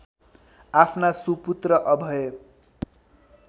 आफ्ना सुपुत्र अभय